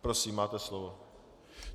Prosím, máte slovo.